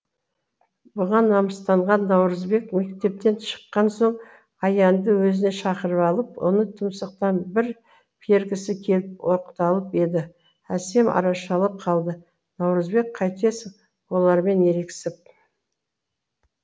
бұған намыстанған наурызбек мектептен шыққан соң аянды өзіне шақырып алып оны тұмсықтан бір пергісі келіп оқталып еді әсем арашалап қалды наурызбек қайтесің олармен ерегесіп